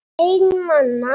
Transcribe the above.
Einn manna!